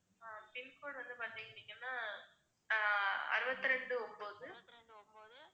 pincode வந்து பாத்துக்கிட்டீங்கன்னா அறுவத்தி ரெண்டு ஒன்பது